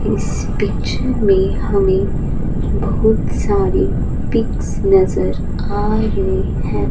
इस पिक्चर में हमें बहुत सारी पिक्स नजर आ रही हैं।